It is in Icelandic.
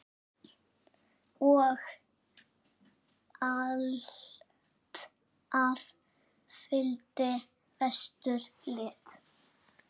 Og alltaf fylgdi vestur lit.